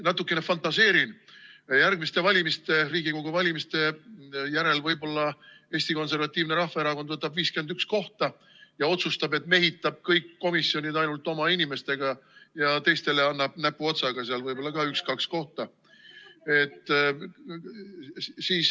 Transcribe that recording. Natukene fantaseerin: järgmiste Riigikogu valimiste järel võib-olla Eesti Konservatiivne Rahvaerakond võtab 51 kohta ja otsustab, et mehitab kõik komisjonid ainult oma inimestega, teistele annab näpuotsaga seal võib-olla ka üks-kaks kohta.